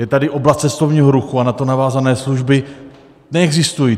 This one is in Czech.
Je tady oblast cestovního ruchu a na to navázané služby neexistují.